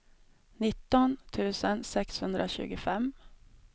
nitton tusen sexhundratjugofem